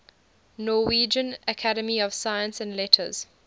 norwegian academy of science and letters